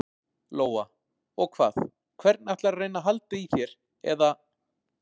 Lóa: Og hvað, hvernig ætlarðu að reyna að halda í þér eða?